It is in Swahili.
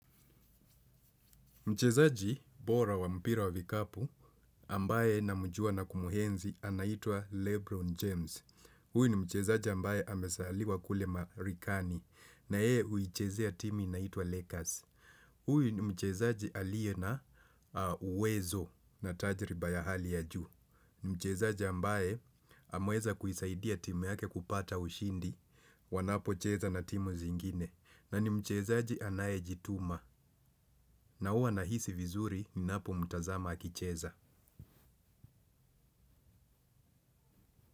Mchezaji bora wa mpira wa vikapu ambaye na mjua na kumuenzi anaitua Lebron James. Huyi ni mchezaji ambaye amesaliwa kule Marikani na yee uichezea timi naitua Lakers. Huyu ni mchezaji alie na uwezo na tajriba ya hali ya juu. Ni mchezaji ambaye amueza kuisaidia timu yake kupata ushindi wanapocheza na timu zingine. Na ni mchezaji anaye jituma na huwa na hisi vizuri ni napo mtazama akicheza.